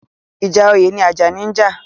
Ìjà oyè ni Àjàní ń jà.